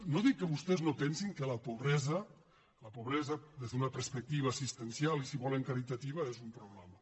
no dic que vostès no pensin que la pobresa des d’una perspectiva assistencial i si volen caritativa és un problema